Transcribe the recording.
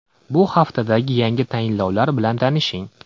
Bu haftadagi yangi tayinlovlar bilan tanishing.